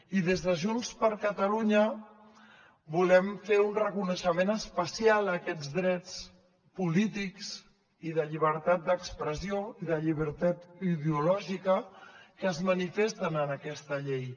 i des de junts per catalunya volem fer un reconeixement especial a aquests drets polítics i de llibertat d’expressió i de llibertat ideològica que es manifesten en aquesta llei